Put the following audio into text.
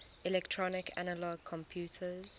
electronic analog computers